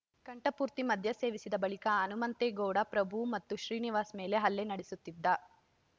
ಕಂಠಪೂರ್ತಿ ಮದ್ಯ ಸೇವಿಸಿದ ಬಳಿಕ ಹನುಮಂತೇಗೌಡ ಪ್ರಭು ಮತ್ತು ಶ್ರೀನಿವಾಸ್‌ ಮೇಲೆ ಹಲ್ಲೆ ನಡೆಸುತ್ತಿದ್ದ